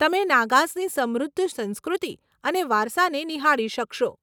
તમે નાગાઝની સમૃદ્ધ સંસ્કૃતિ અને વારસાને નિહાળી શકશો.